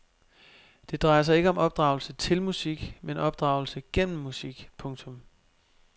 Det drejer sig ikke om opdragelse til musik men opdragelse gennem musik. punktum